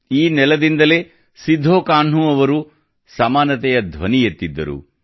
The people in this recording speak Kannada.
ಈ ನೆಲದಿಂದಲೇ ಸಿದ್ಧೋಕಾನ್ಹೂ ಅವರು ಸಮಾನತೆಯ ಧ್ವನಿ ಎತ್ತಿದ್ದರು